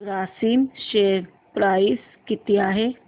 Grasim share price किती आहे